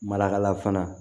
Mala fana